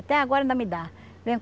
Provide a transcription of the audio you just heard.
Até agora ainda me dá.